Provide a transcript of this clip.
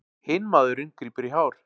Hinn maðurinn grípur í hár.